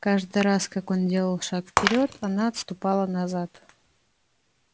каждый раз как он делал шаг вперёд она отступала назад